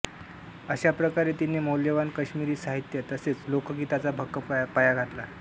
अशा प्रकारे तिने मौल्यवान काश्मिरी साहित्य तसेच लोकगीतांचा भक्कम पाया घातला